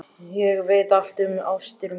Ég veit allt um ástir mínar.